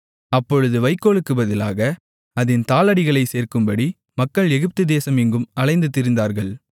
அப்பொழுது வைக்கோலுக்குப் பதிலாக அதின் தாளடிகளைச் சேர்க்கும்படி மக்கள் எகிப்துதேசம் எங்கும் அலைந்து திரிந்தார்கள்